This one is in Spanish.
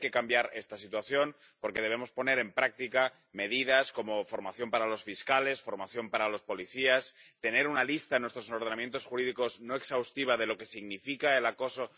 Y hay que cambiar esta situación, porque debemos poner en práctica medidas como formación para los fiscales, formación para los policías, tener una lista no exhaustiva en nuestros ordenamientos jurídicos de lo que significa el acoso.